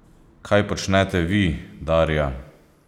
Kaj počnete vi, Darja?